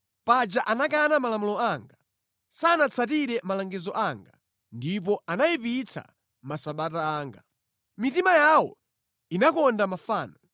Paja anakana malamulo anga, sanatsatire malangizo anga ndipo anayipitsa masabata anga. Mitima yawo inakonda mafano.